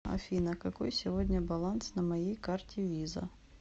афина какой сегодня баланс на моей карте виза